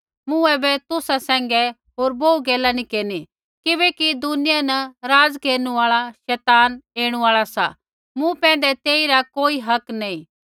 मूँ ऐबै तुसा सैंघै होर बोहू गैला नैंई केरनी किबैकि दुनियां न राज़ केरनु आल़ा शैतान ऐणु आल़ा सा मूँ पैंधै तेइरा कोई हक नैंई